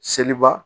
Seliba